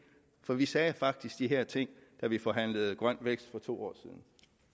for vi sagde faktisk de her ting da vi forhandlede grøn vækst for to år siden